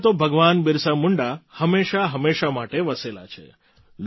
જનમાનસમાં તો ભગવાન બિરસા મુંડા હંમેશાંહંમેશાં માટે વસેલા છે